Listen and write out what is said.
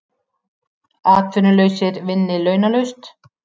Atvinnulausir vinni launalaust